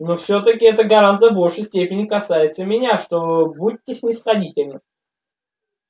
но всё-таки это в гораздо большей степени касается меня что ээ будьте снисходительны